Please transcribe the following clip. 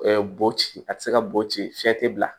bo ci a te se ka bo ci fiɲɛ te bila